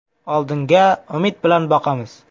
Oldinga umid bilan boqamiz.